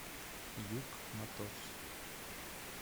юг моторс